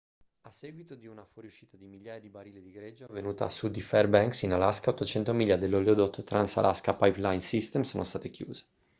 a seguito di una fuoriuscita di migliaia di barili di greggio avvenuta a sud di fairbanks in alaska 800 miglia dell'oleodotto trans-alaska pipeline system sono state chiuse